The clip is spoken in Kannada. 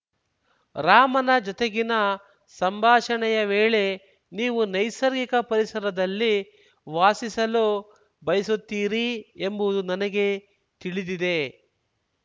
ರಾಮನ ಜೊತೆಗಿನ ಸಂಭಾಷಣೆಯ ವೇಳೆ ನೀವು ನೈಸರ್ಗಿಕ ಪರಿಸರದಲ್ಲಿ ವಾಸಿಸಲು ಬಯಸುತ್ತೀರಿ ಎಂಬುವುದು ನನಗೆ ತಿಳಿದಿದೆ